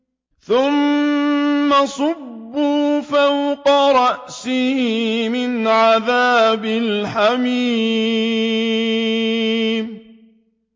ثُمَّ صُبُّوا فَوْقَ رَأْسِهِ مِنْ عَذَابِ الْحَمِيمِ